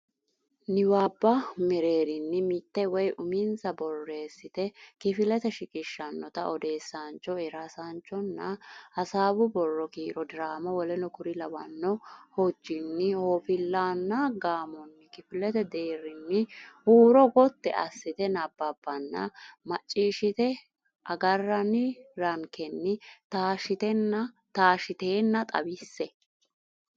niwaabba mereerinni mitte woy uminsa borreessite kifilete shiqishshannota odeessaancho eersaanchonna hasaawu borro kiiro diraama w k l hojjinni hooffillaanna gaamonni kifilete deerrinni huuro gotti assite nabbabbanna macciishshite agarranni rankenni taashshitenna xawisse.